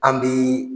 An bi